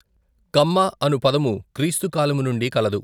కమ్మ అను పదము క్రీస్తు కాలము నుండి కలదు.